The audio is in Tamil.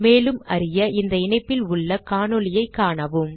மேலும் அறிய இந்த இணைப்பில் உள்ள காணொளியைக் காணவும்